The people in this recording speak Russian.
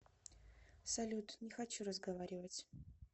салют не хочу разговаривать